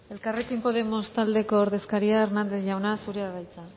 elkarrekin podemos taldeko ordezkaria hernández jauna zurea da hitza